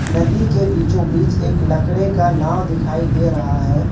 नदी के बीचो बीच एक लकड़े का नाव दिखाई दे रहा है।